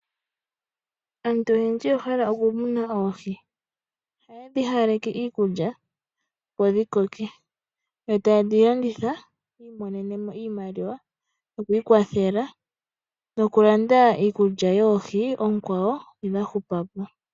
Aantu oyendji oya hala okumuna oohi. Ohaye dhi hawaleke iikulya, opo dhi koke. Yo taye dhi landitha, opo yi imonene mo iimaliwa yoku ikwathela nokulanda iikulya yoohi ndhoka dha hupa po.